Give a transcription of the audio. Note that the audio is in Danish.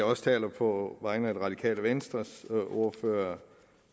også taler på vegne af det radikale venstres ordfører